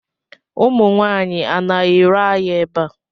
Ụmụ nwaanyị, a na-ere ahịa ebe a?